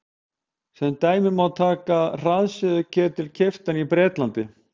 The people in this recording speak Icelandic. sem dæmi má taka hraðsuðuketil keyptan í bretlandi